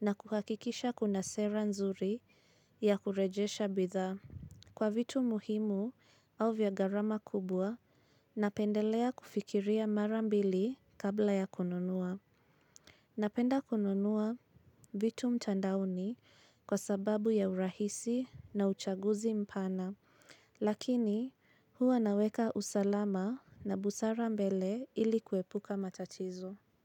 na kuhakikisha kuna sera nzuri ya kurejesha bidhaa. Kwa vitu muhimu au vyagarama kubwa, napendelea kufikiria marambili kabla ya kununua. Napenda kununua vitu mtandaoni kwa sababu ya urahisi na uchaguzi mpana. Lakini huwa naweka usalama na busara mbele ili kwepuka matatizo.